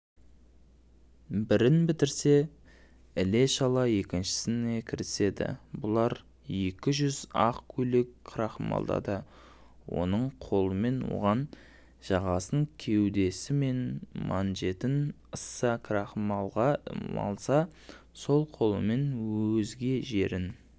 бірін бітірсе ілешала екіншісіне кіріседі бұлар екі жүз ақ көйлек крахмалдады оң қолымен оның жағасын кеудесі мен манжетін ыссы крахмалға малса сол қолымен өзге жерін